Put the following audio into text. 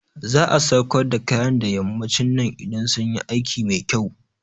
Za'a sauƙar da kayan da yammacin nan idan sunyi aiki mai kyau